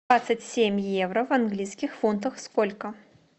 двадцать семь евро в английских фунтах сколько